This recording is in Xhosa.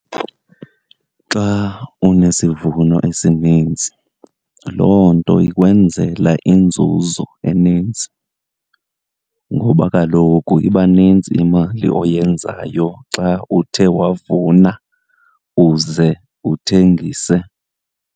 Xa unesivuno esinintsi loo nto ikwenzela inzuzo eninzi, ngoba kaloku iba nintsi imali oyenzayo xa uthe wavuna uze uthengise.